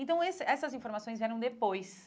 Então, esse essas informações vieram depois.